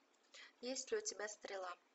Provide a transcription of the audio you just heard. есть ли у тебя стрела